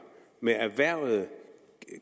med erhvervede